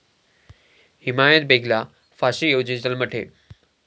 हिमायत बेगला फाशी ऐवजी जन्मठेप